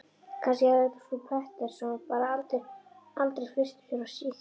Kannski hafði frú Pettersson bara aldrei flust frá Svíþjóð.